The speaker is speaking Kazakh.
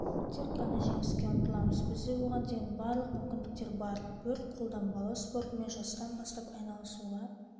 тек қана жеңіске ұмтыламыз бізде оған деген барлық мүмкіндіктер бар өрт-қолданбалы спортымен жастан бастап айналысуға